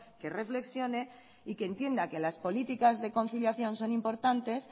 que reflexione y que entienda que las políticas de conciliación son importantes